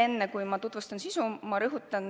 Enne kui ma tutvustan eelnõu sisu, ma rõhutan,